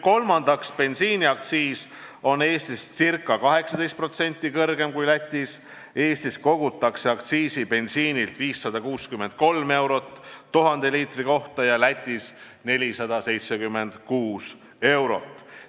Kolmandaks, bensiiniaktsiis on Eestis ca 18% kõrgem kui Lätis, Eestis kogutakse bensiinilt 563 eurot aktsiisi 1000 liitri kohta ja Lätis 476 eurot.